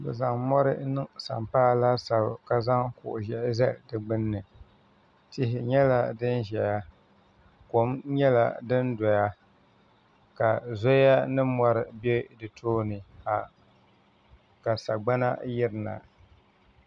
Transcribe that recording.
Bi zaŋ mori n niŋ sampaa laasabu ka zaŋ kuɣu zɛhi zali di gbuni tihi nyɛla dini zɛya kom nyɛla do ni doya ka zoya ni mori bɛ di tooni ka sagbana yiri na.